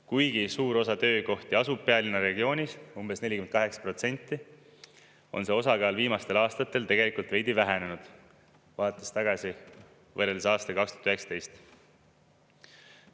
Kuigi suur osa töökohti asub pealinna regioonis – umbes 48% –, on see osakaal viimastel aastatel tegelikult veidi vähenenud, vaadates tagasi, võrreldes aastaga 2019.